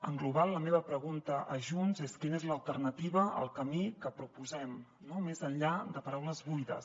en global la meva pregunta a junts és quina és l’alternativa al camí que proposem més enllà de paraules buides